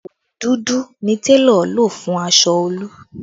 Òwú dúdú ni télọ̀ lò fún aṣọ Olú